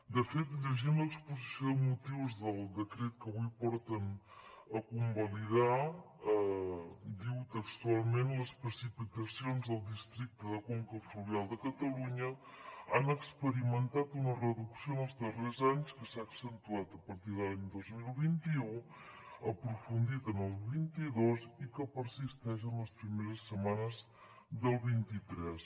de fet llegint l’exposició de motius del decret que avui porten a convalidar diu textualment les precipitacions al districte de conca fluvial de catalunya han experimentat una reducció en els darrers anys que s’ha accentuat a partir de l’any dos mil vint u aprofundit en el vint dos i que persisteix en les primeres setmanes del vint tres